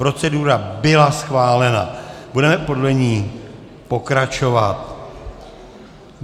Procedura byla schválena, budeme podle ní pokračovat.